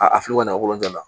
A fili mangolonjala